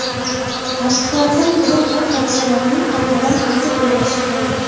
Tasdiqlardan biri bu hodisalarning qaytadan aytib berilishi bo‘ldi.